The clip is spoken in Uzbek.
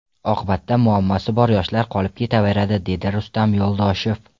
Oqibatda muammosi bor yoshlar qolib ketaveradi”, dedi Rustam Yo‘ldoshev.